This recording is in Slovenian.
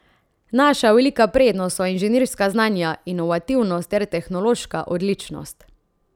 Naša velika prednost so inženirska znanja, inovativnost ter tehnološka odličnost.